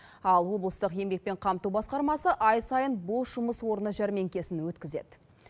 ал облыстық еңбекпен қамту басқармасы ай сайын бос жұмыс орны жәрмеңкесін өткізеді